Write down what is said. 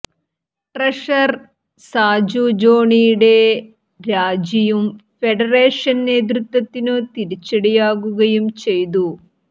treasurer Saju ജോണിയുടെ രാജിയും federation നേതൃത്വത്തിനു തിരിച്ചടിയാകുയും ചെയ്തു